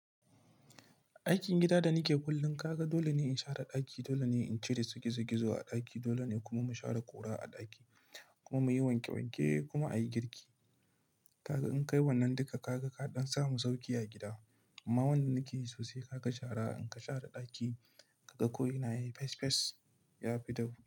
Aikin gida da nike kullum, kaga dole ne in share ɗaki, dole ne in cire gizo-gizo a ɗaki, dole ne kuma mu share ƙura a ɗaki kuma muyi wanke wanke kuma a yi girki. Kaga in kai wannan duka, kaga kaɗan samu sauƙi a gida. Amma wannan nake yi sosai, kaga shara in ka share ɗaki, kaga ko ina yayi fes fes, ya fi dahu.